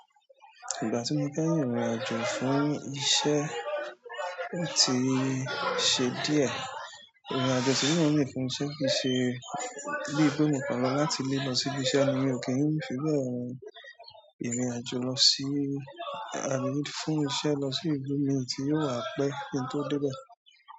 Ìgbà tí mo fẹ́ rín ìrìn àjò fún iṣẹ́, ó ti ṣe díẹ̀. Ìrìn àjò ti mo n rin fún un iṣẹ́ kí i ṣe bí i pé mo kan lo láti ilé lọ sí ibi iṣẹ́ ni mi ò kí ń fi bẹ́ẹ̀ rin ìrìn àjò lọ sí, to fún iṣẹ́ lọ sí ibi mí tí yóò wá pẹ́ kintó débẹ̀.